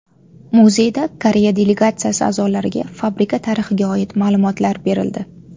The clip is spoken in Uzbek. Muzeyda Koreya delegatsiyasi a’zolariga fabrika tarixiga oid ma’lumotlar berildi.